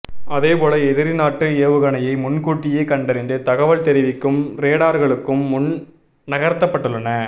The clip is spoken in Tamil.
அதேபோல எதிரிநாட்டு ஏவுகணையை முன்கூட்டியே கண்டறிந்து தகவல் தெரிவிக்கும் ரேடார்களும் முன் நகர்த்தப்பட்டுள்ளன